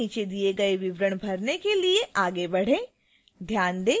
आइए नीचे दिए गए विवरण भरने के लिए आगे बढ़ें